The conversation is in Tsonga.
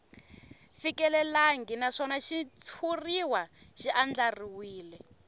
fikelelangi naswona xitshuriwa xi andlariwile